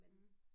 Mh